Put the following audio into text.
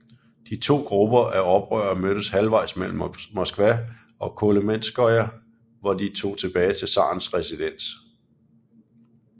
De to grupper af oprører mødtes halvvejs mellem Moskva og Kolomenskoye hvor de tog tilbage til zarens residens